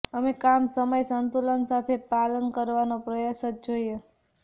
અમે કામ સમય સંતુલન સાથે પાલન કરવાનો પ્રયાસ જ જોઈએ